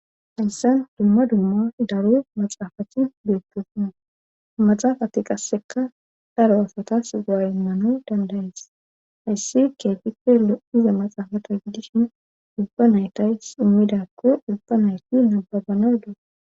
hayssan dumma dumma dariyo maxaafacthi beepposuna maxaafati qasseka daro asatas go7a immano dandayees hayssi keetipello iza maxaafata gidishin ubba naytays immidakko ubba nayti nababana da